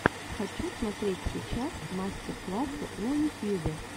хочу смотреть сейчас мастер классы на ютьюбе